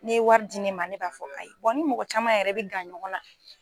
N'i ye wari di ne ma ne b'a fɔ ayi n ni mɔgɔ caman yɛrɛ bɛ gan ɲɔgɔn na.